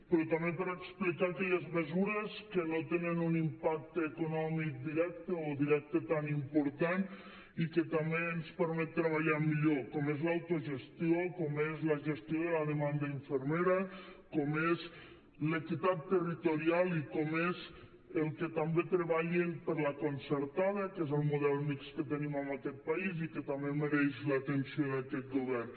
però també per explicar aquelles mesures que no tenen un impacte econòmic directe o directe tan important i que també ens permet treballar millor com és l’autogestió com és la gestió de la demanda infermera com és l’equitat territorial i com és el que també treballin per la concertada que és el model mixt que tenim en aquest país i que també mereix l’atenció d’aquest govern